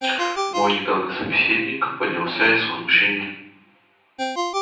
мой недавний собеседник поднялся и с возмущением